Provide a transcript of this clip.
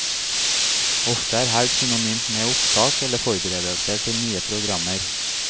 Ofte er helg synonymt med opptak, eller forberedelser til nye programmer.